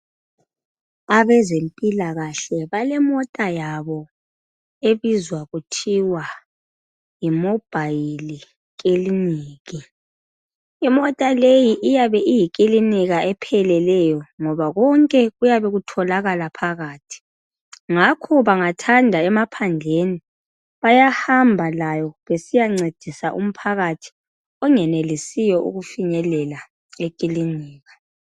Abezempikahle balemota yabo ebizwa kuthiwa yi mobhayili kliniki. Imota leyo iyabe iyikilinika epheleleyo ngoba konke kuyabe kutholakala phakathi. Ngakho bengathanda emaphandleni bayahamba layo besiya ncedisa umphakathi ongenelisiyo ukufinyelela ekilinika.